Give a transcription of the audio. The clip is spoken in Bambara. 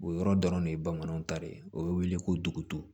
O yɔrɔ dɔrɔn de ye bamananw ta ye o bɛ wele ko dugu